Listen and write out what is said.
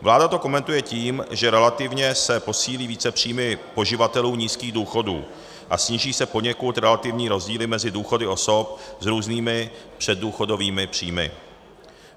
Vláda to komentuje tím, že relativně se posílí více příjmy poživatelů nízkých důchodů a sníží se poněkud relativní rozdíly mezi důchody osob s různými předdůchodovými příjmy.